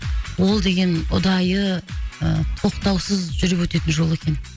ол деген ұдайы ы тоқтаусыз жүріп өтетін жол екен